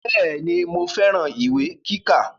Bẹ́ẹ̀ni mo fẹ́ran ìwé kíkà